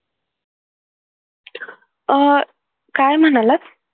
अह काय म्हणालात